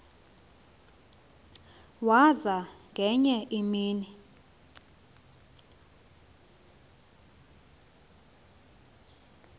waza ngenye imini